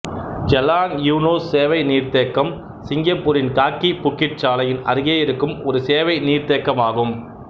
Jalan Eunos சேவை நீர்த்தேக்கம் சிங்கப்பூரின் காக்கி புக்கிட் சாலையின் அருகே இருக்கும் ஒரு சேவை நீர்த்தேக்கமாகும்